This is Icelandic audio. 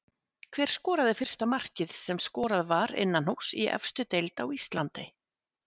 Hver skoraði fyrsta markið sem skorað var innanhúss í efstu deild á Íslandi?